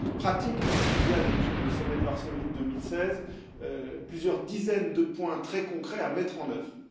Pratique, parce qu'il y a depuis le sommet de Varsovie de 2016 plusieurs dizaines de points très concrets à mettre en œuvre.